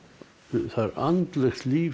það er andlegt líf sem